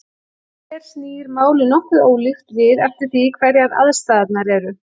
Hér snýr málið nokkuð ólíkt við eftir því hverjar aðstæðurnar eru.